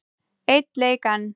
Einn leik enn?